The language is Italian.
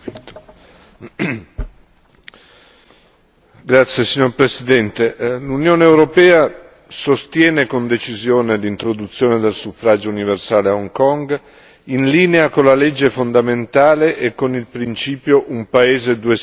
Signor Presidente, onorevoli deputati, l'Unione europea sostiene con decisione l'introduzione del suffragio universale a Hong Kong, in linea con la legge fondamentale e con il principio un paese, due sistemi, e secondo la volontà della popolazione di Hong Kong.